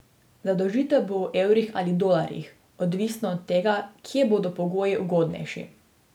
Zadolžitev bo v evrih ali dolarjih, odvisno od tega, kje bodo pogoji ugodnejši.